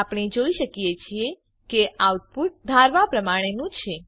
આપણે જોઈ શકીએ છીએ કે આઉટપુટ ધારવા પ્રમાણેનું છે